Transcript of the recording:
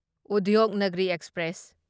Udyognagri express